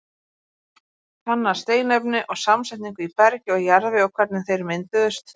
Kanna steinefni og samsetningu í bergi og jarðvegi og hvernig þeir mynduðust.